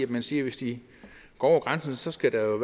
man siger at hvis de går over grænsen skal der